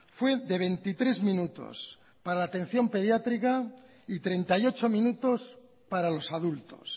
fue de veintitrés minutos para la atención pediátrica y treinta y ocho minutos para los adultos